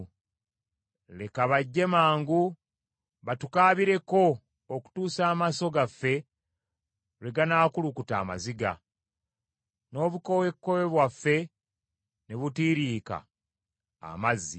Leka bajje mangu batukaabireko okutuusa amaaso gaffe lwe ganaakulukuta amaziga, n’obukoowekoowe bwaffe ne butiiriika amazzi.